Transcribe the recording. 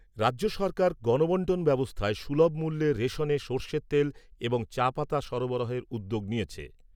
রাজ্য সরকার গণবন্টন ব্যবস্থায় সুলভ মূল্যে রেশনে সর্ষের তেল এবং চা পাতা সরবরাহের উদ্যোগ নিয়েছে।